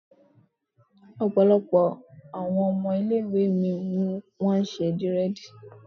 Ọ̀pọ̀ àwọn ọmọ ilé ìwé mi ni wọ́n ṣe dírẹ̀dì